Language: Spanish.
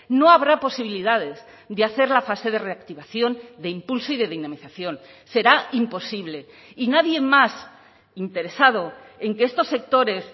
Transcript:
no habrá posibilidades de hacer la fase de reactivación de impulso y de dinamización será imposible y nadie más interesado en que estos sectores